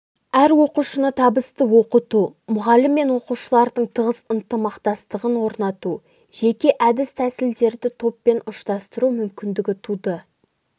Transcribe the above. әр оқушыны табысты оқыту мұғалім мен оқушылардың тығыз ынтымақтастығын орнату жеке әдіс-тәсілдерді топпен ұштастыру мүмкіндігі туды